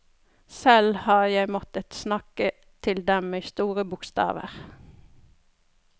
Selv har jeg måttet snakke til dem i store bokstaver.